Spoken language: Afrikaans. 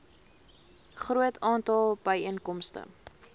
groot aantal byeenkomste